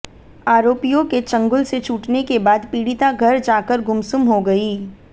आरोपियों के चंगुल से छूटने के बाद पीड़िता घर जाकर गुमसुम हो गई